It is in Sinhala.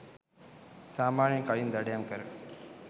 සාමාන්‍යයෙන් කලින් දඩයම් කැර